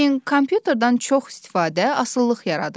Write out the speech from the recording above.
Lakin kompüterdən çox istifadə asılılıq yaradır.